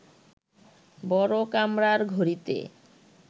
বড় কামরার ঘড়িতে